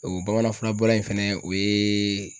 O bamanan fura bɔlen fɛnɛ o ye